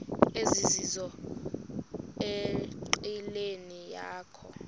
ezizizo enqileni yakho